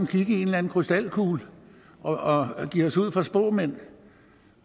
kigge i en eller anden krystalkugle og give os ud for at være spåmænd